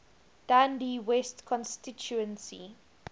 dundee west constituency